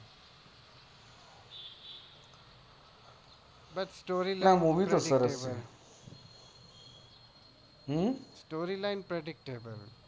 story સરસ છે movie તો સરસ છે